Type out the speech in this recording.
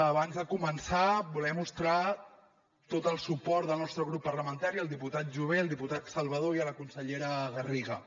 abans de començar volem mostrar tot el suport del nostre grup parlamentari al diputat jové el diputat salvadó i a la consellera garriga